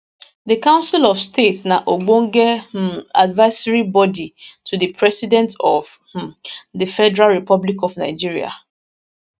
di council of state na ogbonge um advisory body to di president of um di federal republic of nigeria